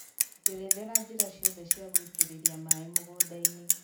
njerethera njĩra ciothe cia gũitĩrĩria maaĩ mũgũnda-inĩ